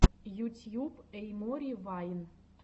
ютьюб эй мори вайн